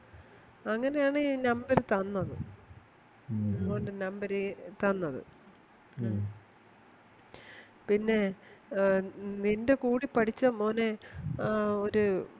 അങ്ങനാണി Number തന്നത് മോൻറെ Number തന്നത് പിന്നെ അഹ് നിൻറെ കൂടെ പഠിച്ച മോനെ ആ ഒര്